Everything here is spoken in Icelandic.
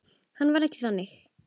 Hann var ekki þannig.